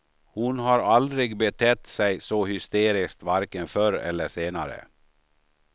Hon har aldrig betett sig så hysteriskt varken förr eller senare.